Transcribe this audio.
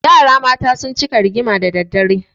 Yara mata sun cika rigima da dare.